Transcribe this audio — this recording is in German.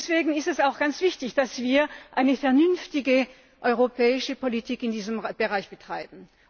Deswegen ist es auch ganz wichtig, dass wir eine vernünftige europäische Politik in diesem Bereich betreiben.